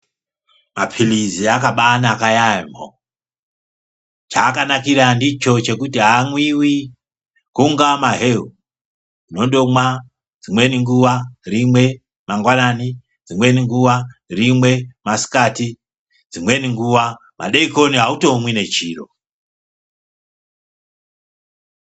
Mapilizi akadai naka yambo cha aka nakira ndicho chekuti amwiwi kunga maheu uno ndomwa dzimweni nguva rimwe mangwanani dzimweni nguva rimwe masikati dzimweni nguva madekoni automwi nechiro.